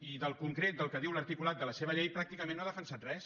i del concret del que diu l’articulat de la seva llei pràcticament no ha defensat res